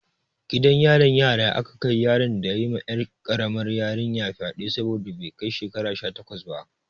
Gidan yarin yara aka kai yaron da ya yi ma 'yar karamar yarinyar fyade saboda bai kai shekara sha takwas ba.